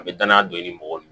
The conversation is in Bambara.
A bɛ danaya don i ni mɔgɔw